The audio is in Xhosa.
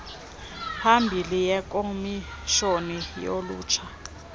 ibhili yekomishoni yolutsha